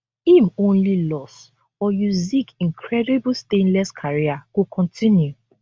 im only loss or usyk incredible stainless career go continue